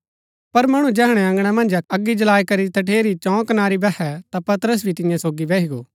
पर मणु जैहणै अँगणा मन्ज अगी जळाई करी तठेरी चौं कनारी बैहै ता पतरस भी तियां सोगी बैही गो